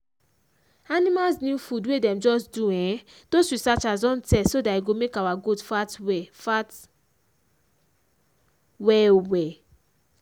animals new food wey dem just do[um]doz researchers don test so that e go make our goat fat well fat well well